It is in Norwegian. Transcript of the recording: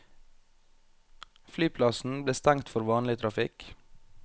Flyplassen ble stengt for vanlig trafikk.